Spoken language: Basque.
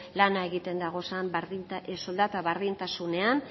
lana egiten dagozan soldata berdintasunean